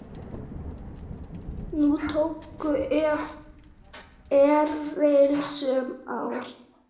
Nú tóku við erilsöm ár.